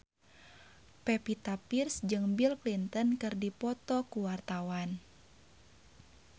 Pevita Pearce jeung Bill Clinton keur dipoto ku wartawan